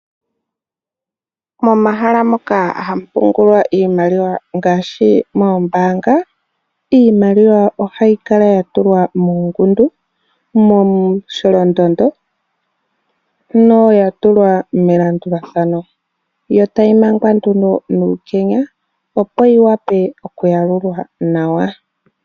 Momahala moka hamu pungulwa iimaliwa ngaashi mombaanga, iimaliwa ohayi kala yatulwa muungundu momusholondondo na oyatulwa melandulathano yo tayi mangwa nduno nuukenya opo yiwape okuyalulwa nawa.